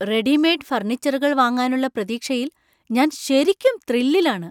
Readymade ഫർണിച്ചറുകൾ വാങ്ങാനുള്ള പ്രതീക്ഷയിൽ ഞാൻ ശരിക്കും ത്രില്ലിലാണ് .